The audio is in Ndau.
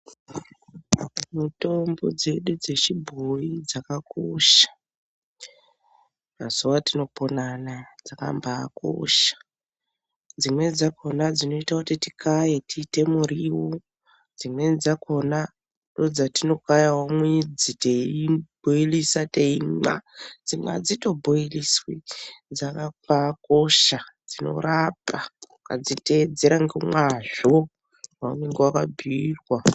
Mitombo dzedu dzechibhoyi dzakakosha ,mazuwa atinopona Anaya dzakambakosha . Dzimweni dzakona dzainoita kuti tikaye tiite muriwo dzimweni dzakona ndodzatinokayawo mwidzi teibhoilisa teimwa , dzimwe adzito bhoiliswi dzakambakosha dzinorapa ukadziteedzera ngemazvo zvaunenge wakabhiirwa.